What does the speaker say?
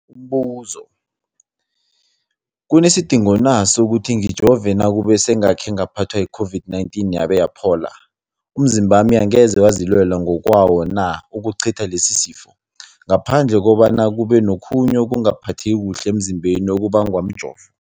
Umbuzo, kunesidingo na sokuthi ngijove nakube sengakhe ngaphathwa yi-COVID-19 yabe yaphola? Umzimbami angeze wazilwela ngokwawo na ukucitha lesisifo, ngaphandle kobana kube nokhunye ukungaphatheki kuhle emzimbeni okubangwa mjovo?